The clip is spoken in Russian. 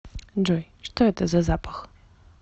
джой что это за запах